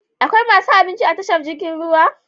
Akwai masu abinci a tashar jirgin ruwa?